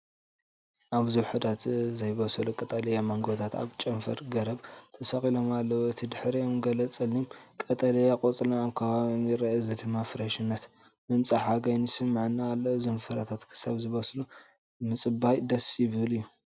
ኣብዚ ውሑዳት ዘይበሰሉ ቀጠልያ ማንጎታት ኣብ ጨንፈር ገረብ ተሰቒሎም ኣለዉ። እቲ ድሕሪኦም ገለ ጸሊም ቀጠልያ ቆጽልን ኣብ ከባቢኦም ይርአ። እዚ ድማ ፍረሽነትን ምምጻእ ሓጋይን ይስምዓኒ ኣሎ-እዞም ፍረታት ክሳብ ዝበስሉ ምጽባይ ደስ ዝብል እዩ።